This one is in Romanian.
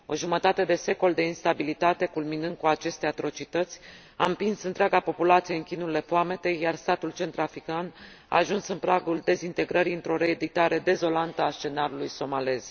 O jumătate de secol de instabilitate, culminând cu aceste atrocități, a împins întreaga populație în chinurile foametei, iar statul centrafrican a ajuns în pragul dezintegrării, într o reeditare dezolantă a scenariului somalez.